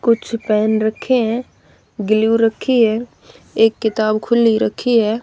कुछ पेन रखे है गिलू रखी है एक किताब खुली रखी है।